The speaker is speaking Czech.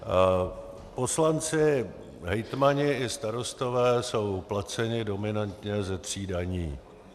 Poslanci, hejtmani i starostové jsou placeni dominantně ze tří daní.